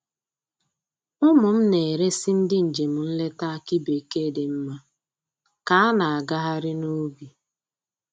Ụmụ m na-eresi ndị njem nleta akị bekee dị mma ka a na-agagharị n'ubi